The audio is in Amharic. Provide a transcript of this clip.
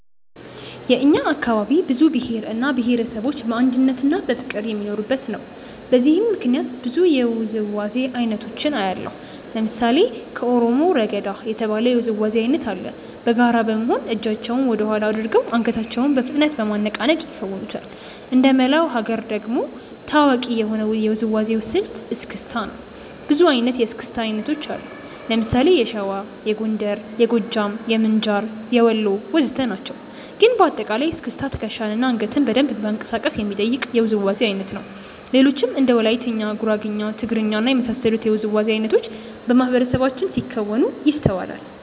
የእኛ አካባቢ ብዙ ብሄር እና ብሄረሰቦች በአንድነትና በፍቅር የሚኖሩበት ነው። በዚህም ምክንያት ብዙ የውዝዋዜ አይነቶችን አያለሁ። ለምሳሌ ከኦሮሞ "ረገዳ" የተባለ የውዝዋዜ አይነት አለ። በጋራ በመሆን እጃቸውን ወደኋላ አድርገው አንገታቸውን በፍጥነት በማነቃነቅ ይከውኑታል። እንደመላው ሀገር ደግሞ ታዋቂ የሆነው የውዝዋዜ ስልት "እስክስታ" ነው። ብዙ አይነት የእስክስታ አይነት አለ። ለምሳሌ የሸዋ፣ የጎንደር፣ የጎጃም፣ የምንጃር፣ የወሎ ወዘተ ናቸው። ግን በአጠቃላይ እስክስታ ትከሻን እና አንገትን በደንብ ማንቀሳቀስ የሚጠይቅ የውዝዋዜ አይነት ነው። ሌሎችም እንደ ወላይትኛ፣ ጉራግኛ፣ ትግርኛ እና የመሳሰሉት የውዝዋዜ አይነቶች በማህበረሰባችን ሲከወኑ ይስተዋላል።